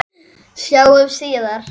Sjáumst síðar.